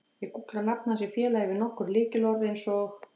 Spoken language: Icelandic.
Ég gúggla nafn hans í félagi við nokkur lykilorð eins og